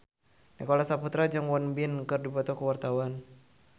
Nicholas Saputra jeung Won Bin keur dipoto ku wartawan